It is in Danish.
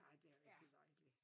Ja det er rigtig dejligt